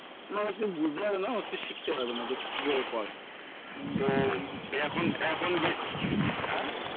অনেক কিছু বুঝতে পারবে না অনেক কিছু শিখতে পারবে না যে কিভাবে করে তো এখন এখন হ্যা